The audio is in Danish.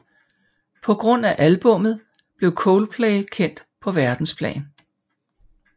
På grund af albummet blev Coldplay kendt på verdensplan